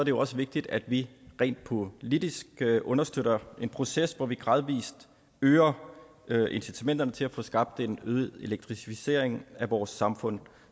jo også vigtigt at vi rent politisk understøtter en proces hvor vi gradvis øger øger incitamenterne til at få skabt en øget elektrificering af vores samfund